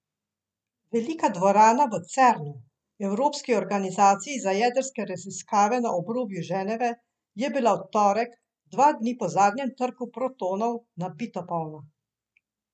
Velika dvorana v Cernu, evropski organizaciji za jedrske raziskave na obrobju Ženeve, je bila v torek, dva dni po zadnjem trku protonov, nabito polna.